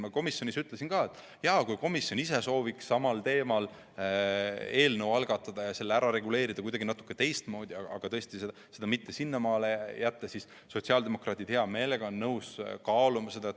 Ma komisjonis ütlesin ka seda, et kui komisjon ise sooviks samal teemal eelnõu algatada ja selle olukorra kuidagi natuke teistmoodi ära reguleerida, siis sotsiaaldemokraadid on hea meelega nõus seda kaaluma.